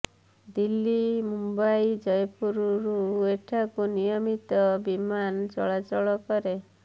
ଦିଲ୍ଲୀ ମୁମ୍ବାଇ ଜୟପୁରରୁ ଏଠାକୁ ନିୟମିତ ବିମାନ ଚଳାଚଳ କରେ